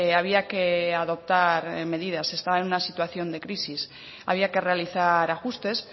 había que adoptar medidas se estaba en una situación de crisis había que realizar ajustes